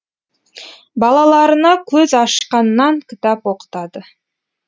балаларына көз ашқаннан кітап оқытады